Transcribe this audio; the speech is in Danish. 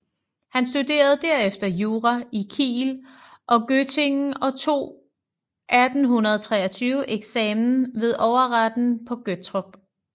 Han studerede derefter jura i Kiel og Göttingen og tog 1823 eksamen ved overretten på Gottorp